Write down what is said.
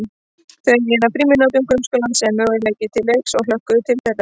Þau eygðu frímínútur grunnskólans sem möguleika til leiks og hlökkuðu til þeirra.